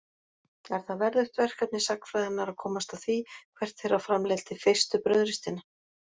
Er það verðugt verkefni sagnfræðinnar að komast að því hvert þeirra framleiddi fyrstu brauðristina.